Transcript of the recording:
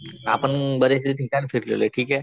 आपण बरेचसे ठिकाण फिरलेलोय ठीके.